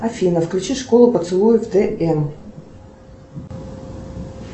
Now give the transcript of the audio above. афина включи школу поцелуев тн